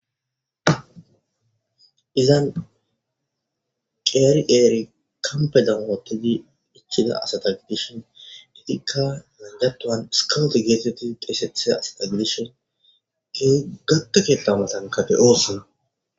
izan qeri qeri kampedan wootidi ichida asata gidishin itikka miatuwan skowt geetetti deesethida asata gidishin gata ketha matanka de7osina